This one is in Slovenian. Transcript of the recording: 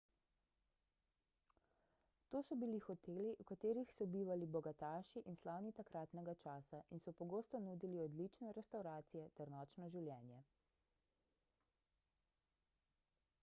to so bili hoteli v katerih so bivali bogataši in slavni takratnega časa in so pogosto nudili odlične restavracije ter nočno življenje